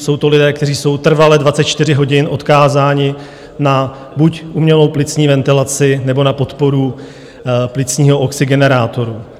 Jsou to lidé, kteří jsou trvale 24 hodin odkázáni buď na umělou plicní ventilaci, nebo na podporu plicního oxygenerátoru.